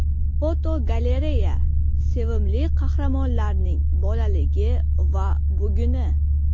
Fotogalereya: Sevimli qahramonlarning bolaligi va buguni.